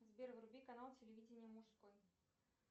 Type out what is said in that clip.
сбер вруби канал телевидения мужской